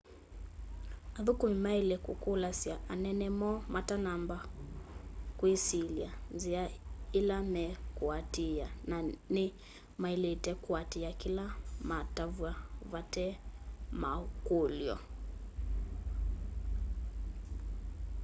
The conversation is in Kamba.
athũkũmĩ maĩle kũkũlasya anene moo matanamba kwĩsyĩlya nzĩa ĩla me kũatĩĩa na nĩ maĩlĩte kũatĩaa kĩla matavywa vate makũlyo